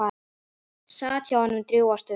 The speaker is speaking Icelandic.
Sat hjá honum drjúga stund.